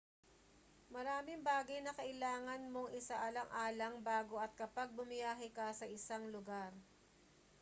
maraming bagay na kailangan mong isaalang-alang bago at kapag bumiyahe ka sa isang lugar